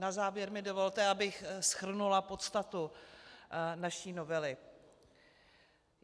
Na závěr mi dovolte, abych shrnula podstatu naší novely.